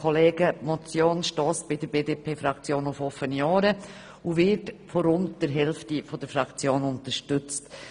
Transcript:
Die Motion stösst bei der BDPFraktion auf offene Ohren und wird von rund der Hälfte der Fraktion unterstützt.